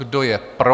Kdo je pro.